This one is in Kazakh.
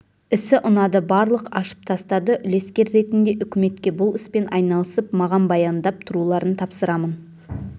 ісі ұнады барлық ашып тастады үлескер ретінде үкіметке бұл іспен айналысып маған баяндап тұруларын тапсырамын